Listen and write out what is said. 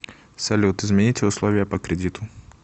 салют измените условия по кредиту